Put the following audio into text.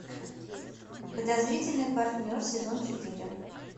подозрительный партнер сезон четыре